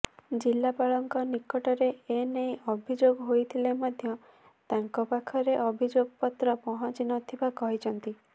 ଜିଲ୍ଲାପାଳଙ୍କ ନିକଟରେ ଏନେଇ ଅଭିଯୋଗ ହୋଇଥିଲେ ମଧ୍ୟ ତାଙ୍କ ପାଖରେ ଅଭିଯୋଗପତ୍ର ପହଞ୍ଚିନଥିବା କହିଛନ୍ତି